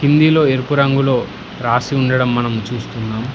హిందీలో ఎరుపు రంగులో రాసి ఉండడం మనం చూస్తున్నాం.